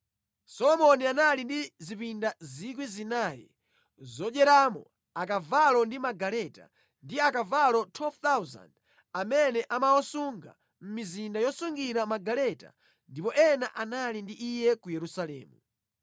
Solomoni anali ndi zipinda 4,000 zodyeramo akavalo ndi magaleta, ndi akavalo 12,000 amene amawasunga mʼmizinda yosungira magaleta ndiponso ena anali ndi iye ku Yerusalemu.